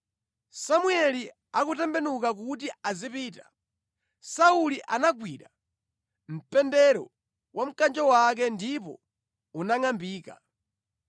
Samueli akutembenuka kuti azipita, Sauli anagwira mpendero wa mkanjo wake, ndipo unangʼambika.